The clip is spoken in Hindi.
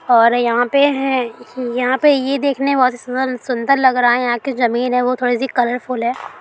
और यहाँ पे है यहाँ पे ये देखने में बहुत ही सुंदर लग रहा है| यहाँ की जमीन है वो थोड़ी-सी कलरफूल है।